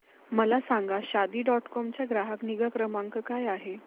मला सांगा Shaadi dot com चा ग्राहक निगा क्रमांक काय आहे